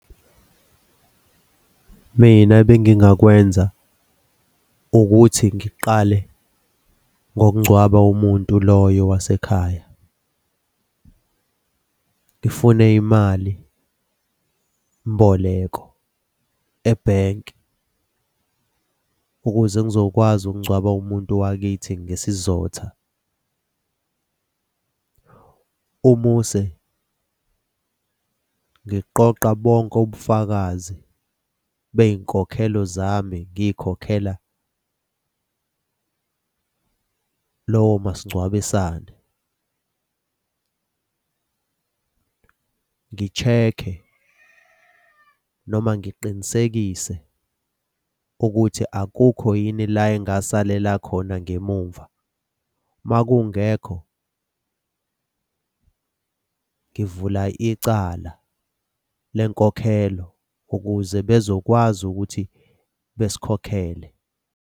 Mina bengingakwenza ukuthi ngiqale ngokungcwaba umuntu loyo wasekhaya. Ngifune imali mboleko ebhenki, ukuze ngizokwazi ukungcwaba umuntu wakithi ngesizotha. Umuse ngiqoqe bonke ubufakazi bey'nkokhelo zami ngiy'khokhela lowo masingcwabisane. Ngi-check-e noma ngiqinisekise ukuthi akukho yini la engasalela khona ngemumva. Uma kungekho ngivula icala lenkokhelo, ukuze bezokwazi ukuthi basikhokhele.